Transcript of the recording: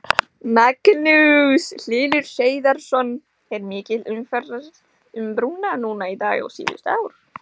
Magnús Hlynur Hreiðarsson: Er mikil umferð um brúnna núna í dag og síðustu ár?